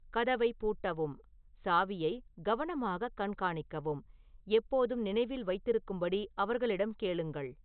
கதவைப் பூட்டவும் சாவியை கவனமாகக் கண்காணிக்கவும் எப்போதும் நினைவில் வைத்திருக்கும்படி அவர்களிடம் கேளுங்கள்